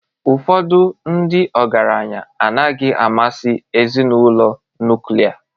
Ụfọdụ ndị ọgaranya adịghị amasị ezinụlọ nuklia